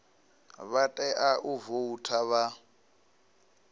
vha tea u voutha vha